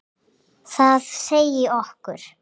Það segi okkur: